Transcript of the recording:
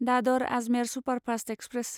Dadar Ajmer superfast express